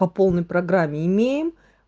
по полной программе имеем